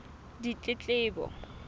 ditletlebo